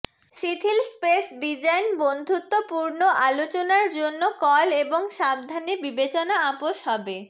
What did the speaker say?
শিথিল space design বন্ধুত্বপূর্ণ আলোচনার জন্য কল এবং সাবধানে বিবেচনা আপোস হবে